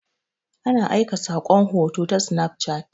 Ana aika saƙon hoto ta sinaf cat.